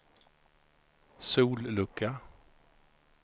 sollucka